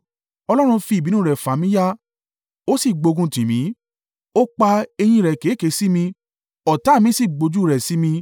Ọlọ́run fi i ìbínú rẹ̀ fà mí ya, ó sì gbóguntì mí; ó pa eyín rẹ̀ keke sí mi, ọ̀tá mi sì gbójú rẹ̀ sí mi.